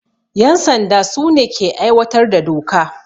Yan sanda su ne ke aiwatar da doka.